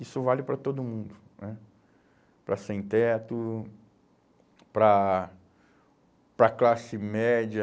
Isso vale para todo mundo né, para sem teto, para, para classe média,